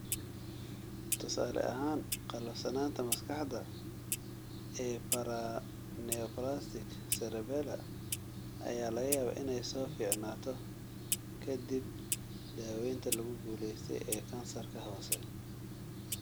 Tusaale ahaan, qallafsanaanta maskaxda ee 'paraneoplastic cerebellar' ayaa laga yaabaa inay soo fiicnaato ka dib daaweynta lagu guuleystay ee kansarka hoose.